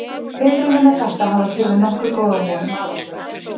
Tilraunir með þetta hafa gefið nokkuð góða von um árangur.